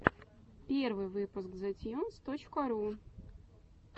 первый выпуск зэтьюнс точка ру